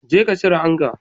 Jeka cire anga